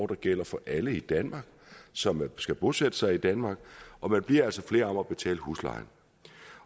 der gælder for alle i danmark som skal bosætte sig i danmark og man bliver altså flere om at betale huslejen